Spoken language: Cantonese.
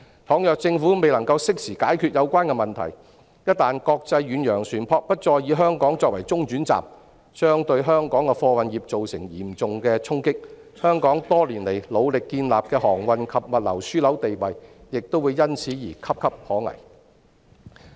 假如政府未能適時解決有關問題，一旦國際遠洋船舶不再以香港作為中轉站，將對香港的貨運業造成嚴重的衝擊，香港多年來努力建立的航運及物流樞紐地位亦會因此而岌岌可危。